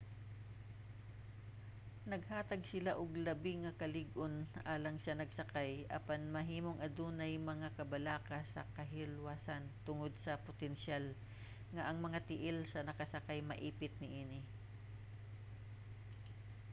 naghatag sila og labi nga kalig-on alang sa nagsakay apan mahimong adunay mga kabalaka sa kahilwasan tungod sa potensyal nga ang mga tiil sa nagsakay maipit niini